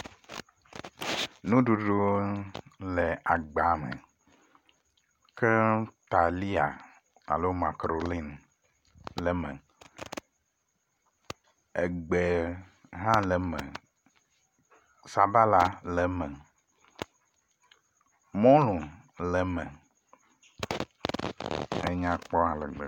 Nuɖuɖu le agba me. Ke talia alo makaɖoni kple ma. Egbe hã le eme, sabala le eme, mɔlu le eme, enyakpɔ ale gbegbe.